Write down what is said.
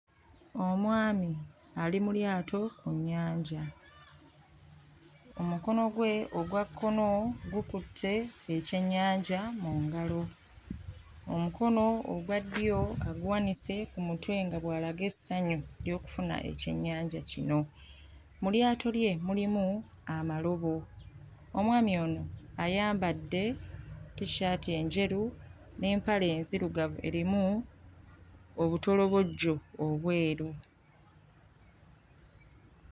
Omwami ali mu lyato mu nnyanja. Omukono gwe ogwa kkono gukutte ekyennyanja mu ngalo. Omukono ogwa ddyo aguwanise ku mutwe nga bw'alaga essanyu ly'okufuna ekyennjanja kono. Mu lyato lye mulimu amalobo. Omwami ono ayambadde t-shirit enjeru n'empale enzirugavu erimu obutolobojjo obweru.